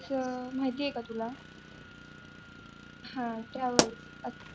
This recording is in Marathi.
माहिती आहे का तुला हा travel